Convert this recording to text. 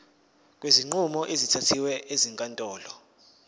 kwezinqumo ezithathwe ezinkantolo